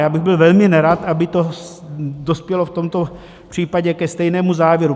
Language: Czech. Já bych byl velmi nerad, aby to dospělo v tomto případě ke stejnému závěru.